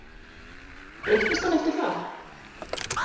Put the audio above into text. Breyttist hann eftir það?